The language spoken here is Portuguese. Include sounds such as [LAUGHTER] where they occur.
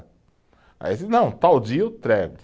Aí, [UNINTELLIGIBLE] não, tal dia eu entrego.